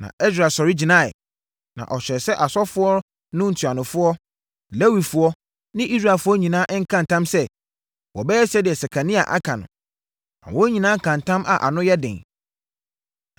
Na Ɛsra sɔre gyinaeɛ, na ɔhyɛɛ sɛ asɔfoɔ no ntuanofoɔ, Lewifoɔ ne Israelfoɔ nyinaa nka ntam sɛ, wɔbɛyɛ deɛ Sekania aka no. Na wɔn nyinaa kaa ntam a ano yɛ den.